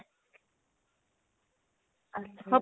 ਅੱਛਾ ਜੀ